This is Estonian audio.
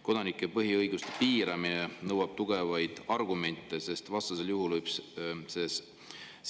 Kodanike põhiõiguste piiramine nõuab tugevaid argumente, sest vastasel juhul võib see